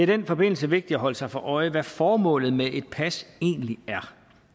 den forbindelse vigtigt at holde sig for øje hvad formålet med et pas egentlig er